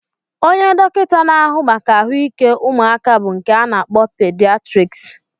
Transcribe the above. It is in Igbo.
Onye dọkịta na-ahụ maka ahụike ụmụaka bụ nke a na-akpọ pidiatriks